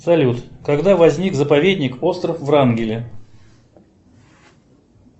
салют когда возник заповедник остров врангеля